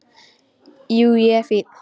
Jú, ég er fínn.